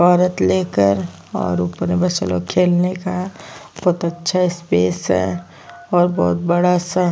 औरत लेकर और ऊपर में बच्चे लोग खेलने का बहुत अच्छा स्पेस है और बहुत बड़ा सा --